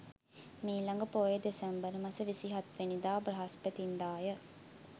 මීළඟ පෝය දෙසැම්බර් මස 27 වැනිදා බ්‍රහස්පතින්දා ය.